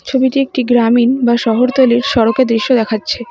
ছবিটি একটি গ্রামীন বা শহরতলীর সড়কের দৃশ্য দেখাচ্ছে।